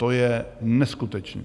To je neskutečné.